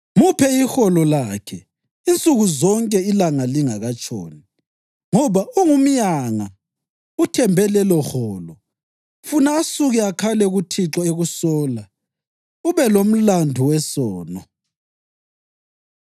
Muphe iholo lakhe insuku zonke ilanga lingakatshoni, ngoba ungumyanga uthembe leloholo. Funa asuke akhale kuThixo ekusola, ube lomlandu wesono.